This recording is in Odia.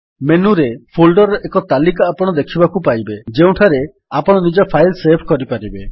ମେନୁରେ ଫୋଲ୍ଡର୍ ର ଏକ ତାଲିକା ଆପଣ ଦେଖିବାକୁ ପାଇବେ ଯେଉଁଠାରେ ଆପଣ ନିଜ ଫାଇଲ୍ ସେଭ୍ କରିପାରିବେ